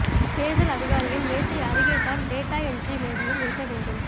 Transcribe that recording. தேர்தல் அதிகாரியின் மேசை அருகேதான் டேட்டா என்ட்ரி மேஜையும் இருக்க வேண்டும்